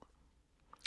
TV 2